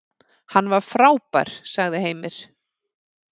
Hann var frábær, sagði Heimir.